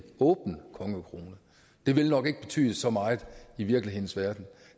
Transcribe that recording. åben kongekrone det vil nok ikke betyde så meget i virkelighedens verden